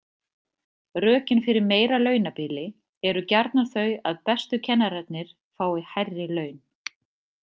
Rökin fyrir meira launabili eru gjarnan þau að bestu kennararnir fái hærri laun.